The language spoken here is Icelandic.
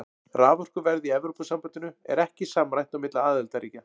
Raforkuverð í Evrópusambandinu er ekki samræmt á milli aðildarríkja.